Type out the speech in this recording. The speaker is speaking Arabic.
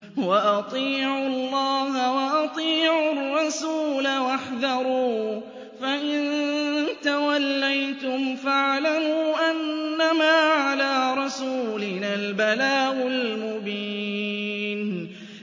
وَأَطِيعُوا اللَّهَ وَأَطِيعُوا الرَّسُولَ وَاحْذَرُوا ۚ فَإِن تَوَلَّيْتُمْ فَاعْلَمُوا أَنَّمَا عَلَىٰ رَسُولِنَا الْبَلَاغُ الْمُبِينُ